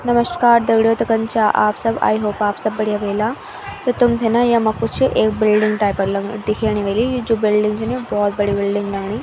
नमश्कार दगडियों तो कन छा आप सब आई होप आप सब बढ़िया वेला त तुम्थे न यम्मा कुछ एक बिल्डिंग टाइप क लगण दिखेणी वेली जू बिल्डिंग च न भौत बड़ी बिल्डिंग लगणी।